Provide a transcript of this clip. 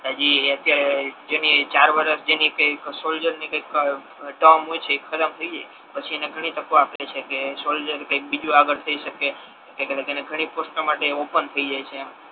હજી અત્યારે જેની ચાર વર્ષ જેની કાઈક સોલ્જર ની કઈક ટર્ન હોય છે એ ખાતમ થઈ જાય પછી એને ઘણી તકો આઆપે છે કે સોલ્જર કઈક બીજુ આગળ થઈ શકે અને ઘણી પોસ્ટો તેના માતે ઓપન થઈ જાય છે તેમ